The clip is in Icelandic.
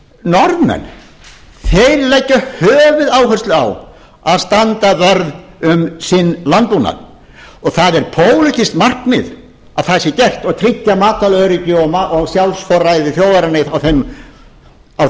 norðmenn þeir leggja höfuðáherslu á að standa vörð um sinn landbúnað það er pólitískt markmið að það sé gert og tryggja matvælaöryggi og sjálfsforræði þjóðarinnar á